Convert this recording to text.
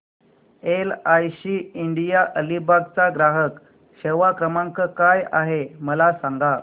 LIC India Alibag चा ग्राहक सेवा क्रमांक काय आहे मला सांगा